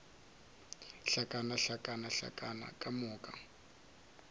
hlakana hlakana hlakana ka moka